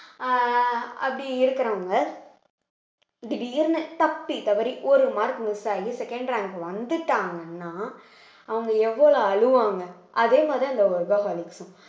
அஹ் அப்படி இருக்கிறவங்க திடீர்ன்னு தப்பித்தவறி ஒரு mark miss ஆயி second rank வந்துட்டாங்கன்னா அவங்க எவ்வளவு அழுவாங்க அதே மாதிரி அந்த workaholic